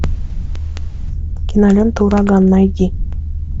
кинолента ураган найди